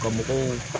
Ka mɔgɔw